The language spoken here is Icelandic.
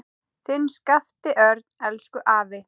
Þinn Skapti Örn. Elsku afi.